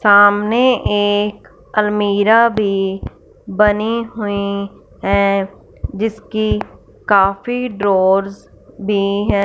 सामने एक अलमीरा भीं बनी हुई हैं जिसकी काफी ड्रोअर्स भी है।